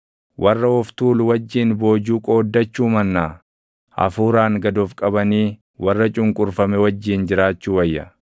Warra of tuulu wajjin boojuu qooddachuu mannaa, hafuuraan gad of qabanii warra cunqurfame wajjin jiraachuu wayya.